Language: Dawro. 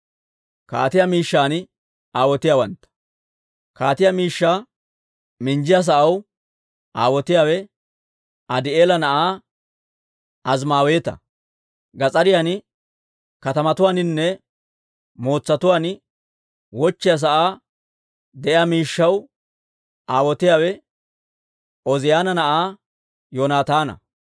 Kaatiyaa miishshaa minjjiyaa sa'aw aawotiyaawe Adii'eela na'aa Azimaaweeta. Gas'ariyan, katamatuwaaninne mootsatuwaan, wochchiyaa saa de'iyaa miishshaw aawotiyaawe Ooziyaana na'aa Yoonataana.